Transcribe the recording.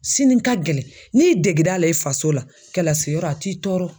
Sini ka gɛlɛn n'i y'i dege l'a la i faso la, kɛlasi yɔrɔ a t'i tɔɔrɔ.